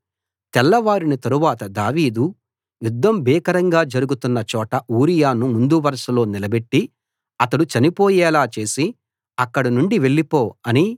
తెల్లవారిన తరువాత దావీదు యుద్ధం భీకరంగా జరుగుతున్న చోట ఊరియాను ముందు వరుసలో నిలబెట్టి అతడు చనిపోయేలా చేసి అక్కడి నుండి వెళ్ళిపో అని